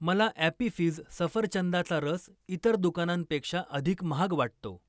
मला Appy Fizz सफरचंदाचा रस इतर दुकानांपेक्षा अधिक महाग वाटतो.